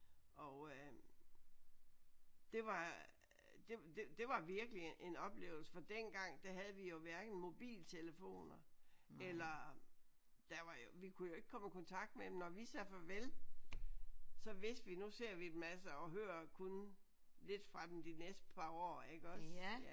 Og øh det var det det var virkelig en oplevelse for dengang der havde vi jo hverken mobiltelefoner eller der var jo vi kunne jo ikke komme i kontakt med dem. Når vi sagde farvel så vidste vi nu ser vi dem altså og hører kun lidt fra dem de næste par år iggås